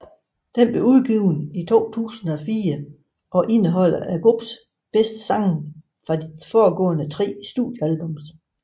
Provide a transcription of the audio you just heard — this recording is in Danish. Det blev udgivet i 2004 og indeholder gruppens bedste sange fra de forgående tre studiealbums